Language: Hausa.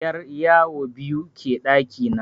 'Yaryawo biyu ke ɗaki na.